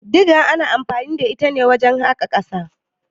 Diga ana anfani da ita ne wajen haƙa ƙasa.